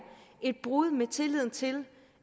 et brud med tilliden til